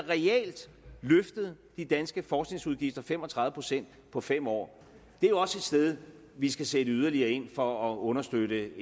løftet de danske forskningsudgifter fem og tredive procent på fem år det er jo også et sted vi skal sætte yderligere ind for at understøtte